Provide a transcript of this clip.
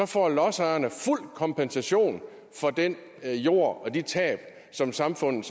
får lodsejerne fuld kompensation for den jord og de tab som samfundet